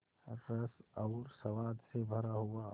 रस और स्वाद से भरा हुआ